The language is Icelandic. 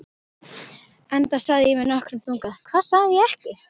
Enda sagði ég með nokkrum þunga: Hvað sagði ég ekki?